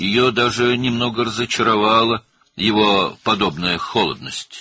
Onun belə soyuqluğu hətta onu bir az məyus etmişdi.